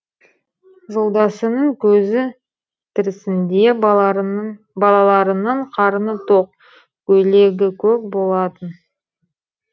жолдасының көзі тірісінде балаларының қарны тоқ көйлегі көк болатын